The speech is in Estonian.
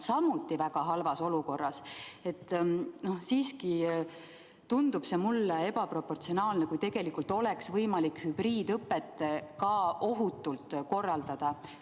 See abinõu tundub mulle ebaproportsionaalne, tegelikult oleks võimalik hübriidõpet ka ohutult korraldada.